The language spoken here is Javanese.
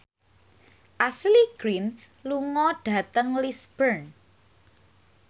Ashley Greene lunga dhateng Lisburn